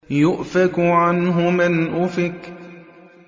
يُؤْفَكُ عَنْهُ مَنْ أُفِكَ